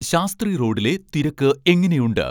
ശാസ്ത്രി റോഡിലെ തിരക്ക് എങ്ങനെയുണ്ട്